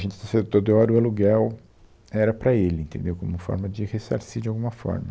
A gente disse Teodoro, o aluguel era para ele, entendeu como forma de ressarcir de alguma forma.